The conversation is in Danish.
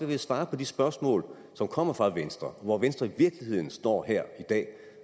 ved at svare på de spørgsmål som kommer fra venstre hvor venstre i virkeligheden står her i dag